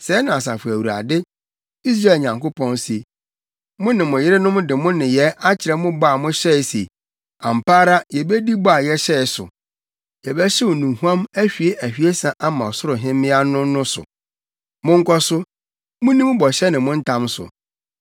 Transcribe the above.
Sɛɛ na Asafo Awurade, Israel Nyankopɔn, se: Mo ne mo yerenom de mo nneyɛe akyerɛ mo bɔ a mohyɛe se, ‘Ampa ara yebedi bɔ a yɛhyɛe sɛ, yɛbɛhyew nnuhuam ahwie ahwiesa ama Ɔsoro Hemmea no,’ no so.” Monkɔ so, munni mo bɔhyɛ ne mo ntam so!